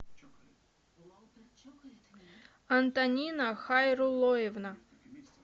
антонина хайрулоевна